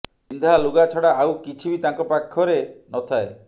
ପିନ୍ଧା ଲୁଗା ଛଡା ଆଉ କିଛି ବି ତାଙ୍କ ପାଖରେ ନଥାଏ